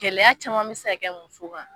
Gɛlɛya caman bi se ka kɛ muso kan